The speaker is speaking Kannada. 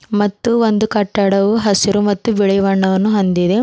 ಮತ್ತು ಒಂದು ಕಟ್ಟಡವು ಹಸಿರು ಮತ್ತು ಬಿಳಿ ಬಣ್ಣವನ್ನು ಹೊಂದಿದೆ.